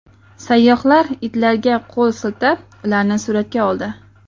Sayyohlar itlarga qo‘l siltab, ularni suratga oldi.